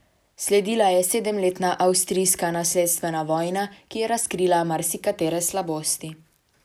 Sledila je sedemletna avstrijska nasledstvena vojna, ki je razkrila marsikatere slabosti.